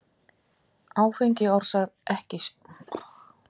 Áfengi orsakar ekki sjúkdóminn en getur stundum sett kast af stað.